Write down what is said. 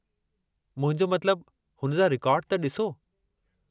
मुंहिंजो मतिलबु, हुन जा रिकार्ड त ॾिसो।